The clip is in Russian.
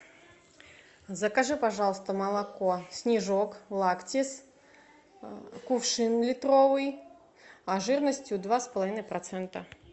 закажи пожалуйста молоко снежок лактис кувшин литровый жирностью два с половиной процента